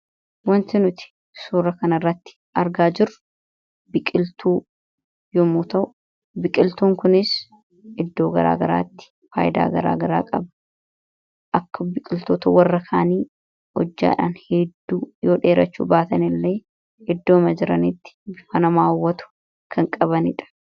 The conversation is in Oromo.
Wanti nuti suura kan irratti argaa jiru biqiltuu yommuu ta'u biqiltuun kunis iddoo garaa garaatti faayidaa garaa garaa qaba. Akka biqiltoota warra kaanii hojjaadhan hedduu yoo dheerachuu baatan illee iddooma jiraniitti bifa nama hawwatu kan qabaniidha.